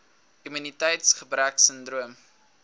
immuniteits gebrek sindroom